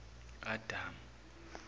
adamu